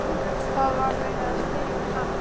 Það var verið að spyrja um hann.